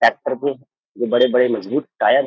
Tractor की जो बड़े बड़े मजबूत टायर है।